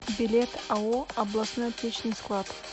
билет ао областной аптечный склад